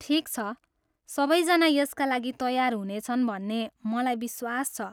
ठिक छ, सबै जना यसका लागि तयार हुनेछन् भन्ने मलाई विश्वास छ।